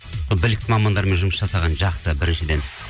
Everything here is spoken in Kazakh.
сол білікті мамандармен жұмыс жасаған жақсы біріншіден